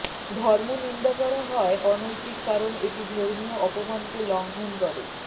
ধর্ম নিন্দা করা হয় অনৈতিক কারণ এটি ধর্মীয় অপমানকে লঙ্ঘন করে